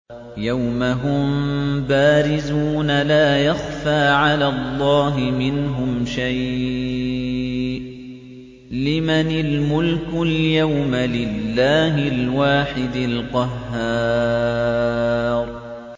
يَوْمَ هُم بَارِزُونَ ۖ لَا يَخْفَىٰ عَلَى اللَّهِ مِنْهُمْ شَيْءٌ ۚ لِّمَنِ الْمُلْكُ الْيَوْمَ ۖ لِلَّهِ الْوَاحِدِ الْقَهَّارِ